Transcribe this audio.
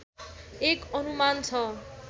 एक अनुमान छ